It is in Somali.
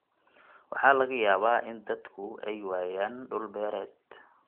Waxaa laga yaabaa in dadku ay waayaan dhul beereed.